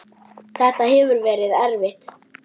Þetta hefur verið erfitt.